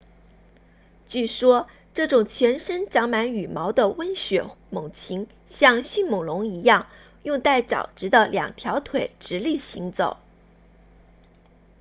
据说这种全身长满羽毛的温血猛禽像迅猛龙一样用带爪子的两条腿直立行走